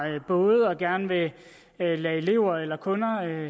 både og gerne vil lade elever eller kunder